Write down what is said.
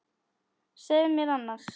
Segðu mér annars.